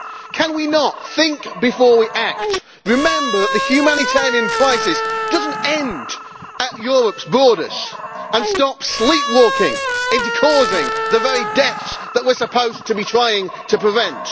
Can we not think before we act, remember that the humanitarian crisis does not end at Europe's borders, and stop sleepwalking into causing the very deaths that we are supposed to be trying to prevent?